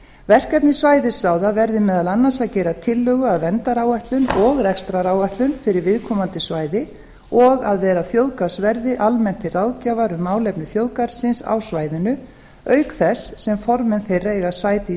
verkefni svæðisráða verði meðal annars að gera tillögu að verndaráætlun og rekstraráætlun fyrir viðkomandi svæði og að vera þjóðgarðsverði almennt til ráðgjafar um málefni þjóðgarðsins á svæðinu auk þess sem formenn þeirra eiga sæti í